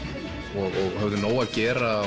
og höfðu nóg að gera